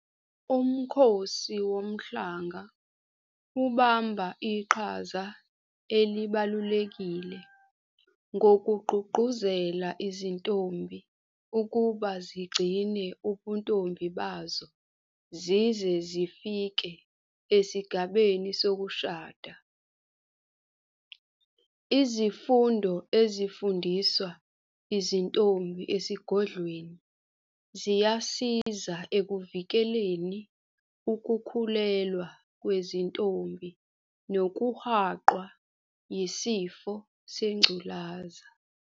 UMkhosi Womhlanga ubamba iqhaza elibalulekile ngokugqugquzela izintombi ukuba zigcine ubuntombi bazo zize zifike esigabeni sokushada. Izifundo ezifundiswa izintombi esigodlweni ziyasiza ekuvikeleni ukukhulelwa kwezintombi nokuhaqwa yisifo sengculaza.